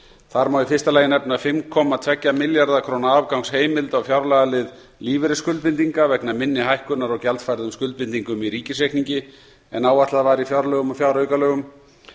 þar má í fyrsta lagi nefna fimm komma tveggja milljarða króna afgangsheimild á fjárlagalið lífeyrisskuldbindinga vegna minni hækkunar á gjaldfærðum skuldbindingum í ríkisreikningi en áætlað var í fjárlögum og fjáraukalögum